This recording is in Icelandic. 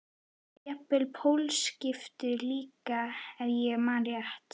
Jafnvel pólskiptum líka ef ég man rétt.